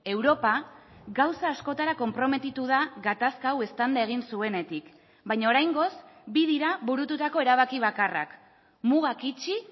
europa gauza askotara konprometitu da gatazka hau eztanda egin zuenetik baina oraingoz bi dira burututako erabaki bakarrak mugak itxi